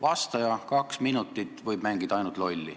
Vastaja võib kaks minutit ainult lolli mängida.